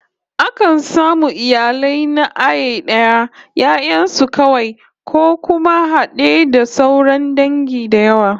Akan samu iyali na iaye da 'ya'yan su kawai, ko kuma had'e da sauran dangi da yawa